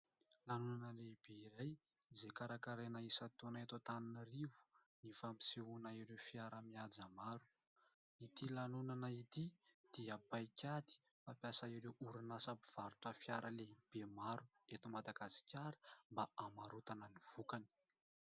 Lanonana lehibe iray izay karakaraina isa-taona eto Antananarivo ny fampisehoana ireo fiara mihaja maro. Ity lanonana ity dia paikady fampiasan'ireo orinasa mpivarotra fiara lehibe maro eto madagasikara mba hamarotana ny vokany.